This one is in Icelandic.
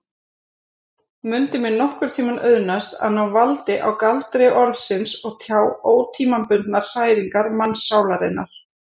Mundi mér nokkurntíma auðnast að ná valdi á galdri orðsins og tjá ótímabundnar hræringar mannssálarinnar?